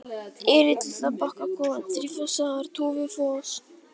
Erill, Litla-Bakkakot, Þrífossar, Tófufoss